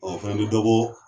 Ɔ o fɛnɛ bi dɔbo